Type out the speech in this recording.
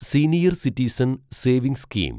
senior citizen savings scheme